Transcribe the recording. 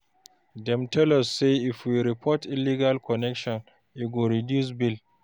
Dem tell us sey, if we report illegal connection, e go reduce bill.